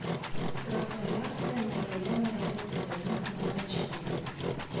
красноярская межрайонная детская больница номер четыре